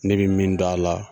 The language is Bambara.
Ne be min dɔn a la